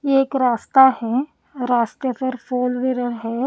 ये एक रास्ता है रास्ते पर फोरव्हीलर् --